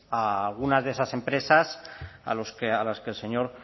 a algunas de esas empresas a las que el señor